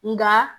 Nka